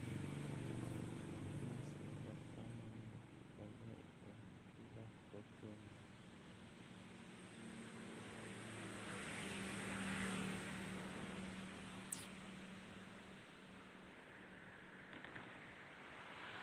Amunee sikobo komonut koroi en bikab kokwengung